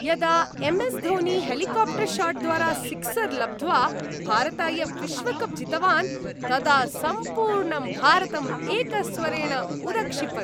यदा M S Dhoni, helicopter शाट्द्वारा sixer लब्ध्वा भारताय विश्वकप् जितवान्, तदा सम्पूर्णं भारतम् एकस्वरेण उदक्षिपत्।